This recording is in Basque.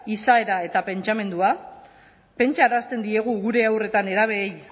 izaera eta pentsamendua pentsarazten diegu gure haur eta nerabeei